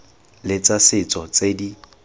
le tsa setso tse di